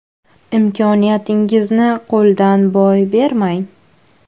Imkoniyatingizni qo‘ldan boy bermang.